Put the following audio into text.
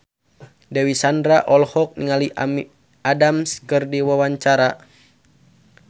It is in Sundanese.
Dewi Sandra olohok ningali Amy Adams keur diwawancara